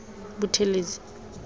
buthelezi